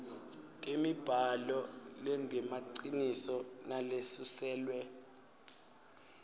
temibhalo lengemaciniso nalesuselwe